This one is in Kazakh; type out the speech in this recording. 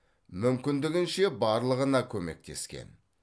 мүмкіндігінше барлығына көмектескен